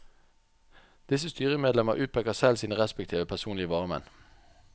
Disse styremedlemmer utpeker selv sine respektive personlige varamenn.